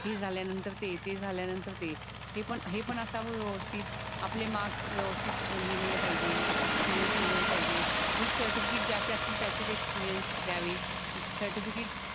हे जाल्या नंतर ते ते झाल्या नंतर हे हे पण हेपण असावं व्यवस्थित आपले मार्क्स व्यवस्थित लिहिलेले पाहिजेत. एक्सपीरिअन्स लेहिलेला पाहिजे. विथ सर्टिफिकेट ज्याचे असतील त्याचे एक्सपीरिअन्स द्यावेत. सर्टिफिकेट